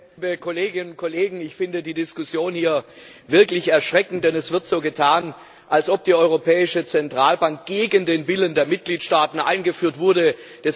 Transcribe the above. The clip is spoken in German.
Herr Präsident, liebe Kolleginnen und Kollegen! Ich finde die Diskussion hier wirklich erschreckend, denn es wird so getan, als ob die Europäische Zentralbank gegen den Willen der Mitgliedstaaten eingeführt worden sei.